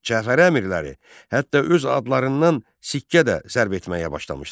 Cəfəri əmirləri hətta öz adlarından sikkə də zərb etməyə başlamışdılar.